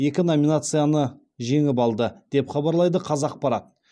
екі номинацияны жеңіп алды деп хабарлайды қазақпарат